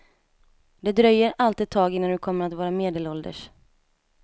Det dröjer allt ett tag innan du kommer att vara medelålders.